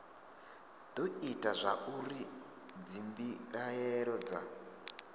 do ita zwauri dzimbilaelo dza